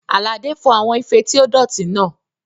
Àlàdé fọ àwọn ife tí ó dọ̀tí náà